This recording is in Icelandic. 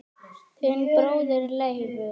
Þinn bróðir Leifur.